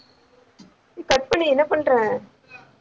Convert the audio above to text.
cut பண்ணு என்ன பண்ற?